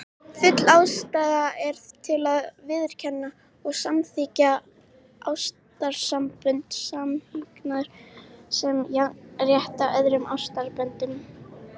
Full ástæða er til að viðurkenna og samþykkja ástarsambönd samkynhneigðra sem jafnrétthá öðrum ástarsamböndum.